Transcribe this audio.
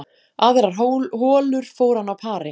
Aðrar holur fór hann á pari